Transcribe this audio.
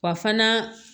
Wa fana